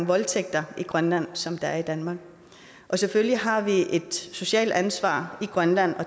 voldtægter i grønland som der er i danmark selvfølgelig har vi et socialt ansvar i grønland